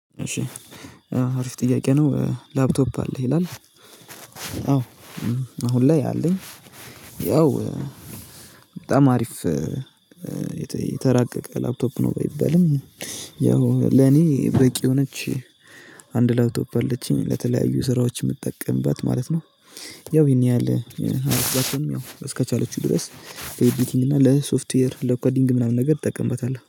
እሺ አሪፍ ጥያቄ ነው ላፕቶፕ አለ ይላል። አዎ አሁን ላይ አለኝ። ያው በጣም አሪፍ የተራቀቀ ላፕቶፕ ነው። ባይበልም ያው ለኔ በቂ የሆነች አንድ ላይ ላፕቶፕ አለችኝ ለተለያዩ ስራዎች የምጠቀምባት ማለት ነው። ያው ይሄን ያህል አርሰናል ያው እስከቻለችው ድረስ ኤዲቲንግ እና ለሶፍትዌር ለአኳዲንግ ምናምን ነገር እጠቀምበታለሁ